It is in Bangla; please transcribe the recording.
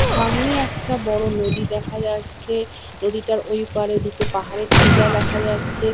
সামনে একটা বড় নদী দেখা যাচ্ছে। নদীটার ঐ পারে দুটো পাহাড়ের টিলা দেখা যাচ্ছে।